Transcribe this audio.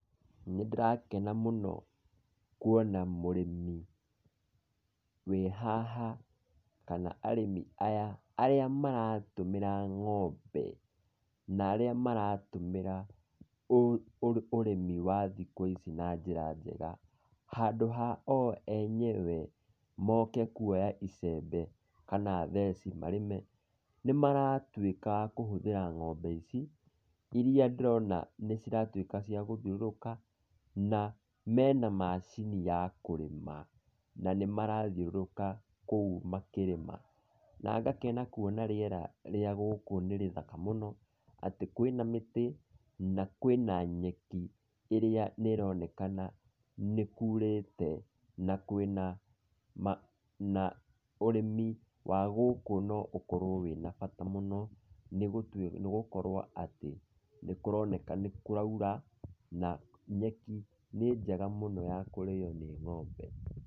Nĩndĩrakena mũno kuona mũrĩmi wĩ haha kana arĩmi aya, arĩa maratũmĩra ng'ombe, na arĩa maratũmĩra ũrĩmi wa thikũ ici na njĩra njega, handũ ha o enyewe moke kuoya icembe kana theci marĩme, nĩmaratuĩka a kũhũthĩra ng'ombe ici, irĩa ndĩrona nĩciratuĩka cia gũthiũrũrũka, na mena macini ya kũrĩma, na nĩ marathiũrũrũka kũu makĩrĩma. Na ngakena kuona rĩera rĩa gũkũ nĩ rĩthaka mũno, atĩ kwĩna mĩtĩ na kwĩna nyeki ĩrĩa nĩ ĩronekana nĩ kuurĩte na kwĩna na ma na ũrĩmi wa gũkũ no ũkorwo wĩna bata mũno, nĩgũtuĩka nĩgũkorwo atĩ nĩkũroneka nĩ kũraura, na nyeki nĩ njega mũno ya kũrĩo nĩ ng'ombe.